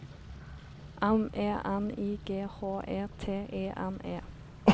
M E N I G H E T E N E